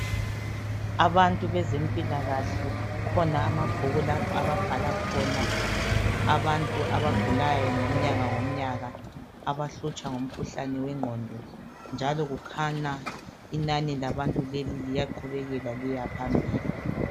Abantu bezempilakahle kukhona amabhuku lapha ababhala khona abantu abagulayo ngomnyaka ngomnyaka abahlutshwa ngumkhuhlane wengqondo njalo kukhanya inani labantu leli liyaqubekela liyaphambili.